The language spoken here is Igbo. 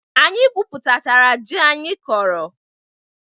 Anyị gwụpụtachara jị anyị kọrọ.